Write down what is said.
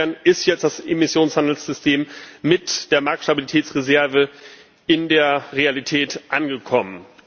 Insofern ist jetzt das Emissionshandelssystem mit der Marktstabilitätsreserve in der Realität angekommen.